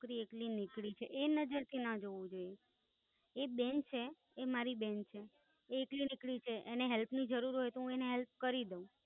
છોકરી એકલી નીકળી છે એ નઝર થી ના જોવું જોઈએ, એ બેન છે એ મારી બેન છે એ એકલી નીકળી છે એને હેલ્પ ની જરૂર હોઈ તો હું એને Help કરી દઉં.